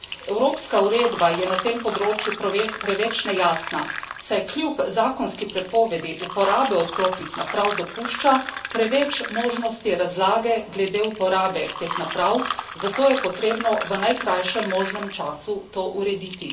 Evropska uredba je na tem področju preveč nejasna, saj kljub zakonski prepovedi uporabe odklopnih naprav dopušča preveč možnosti razlage glede uporabe teh naprav, zato je potrebno v najkrajšem možnem času to urediti.